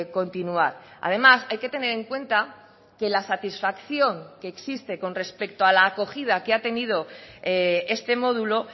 continuar además hay que tener en cuenta que la satisfacción que existe con respecto a la acogida que ha tenido este módulo